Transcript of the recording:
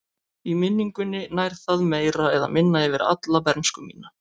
Í minningunni nær það meira eða minna yfir alla bernsku mína.